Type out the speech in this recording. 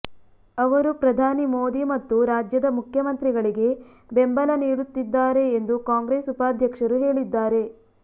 ಅವರು ಪ್ರಧಾನಿ ಮೋದಿ ಮತ್ತು ರಾಜ್ಯದ ಮುಖ್ಯಮಂತ್ರಿಗಳಿಗೆ ಬೆಂಬಲ ನೀಡುತ್ತಿದ್ದಾರೆ ಎಂದು ಕಾಂಗ್ರೆಸ್ ಉಪಾಧ್ಯಕ್ಷರು ಹೇಳಿದ್ದಾರೆ